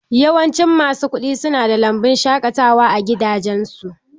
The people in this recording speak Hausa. Yawancin masu kuɗi nada lambun shaƙatawa a gidajensu.